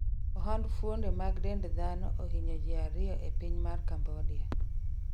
ohand fuonde mag dend dhano ohiny ji ariyo e piny mar Cambodia